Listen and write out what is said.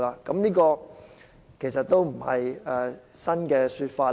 這其實也不是新的說法。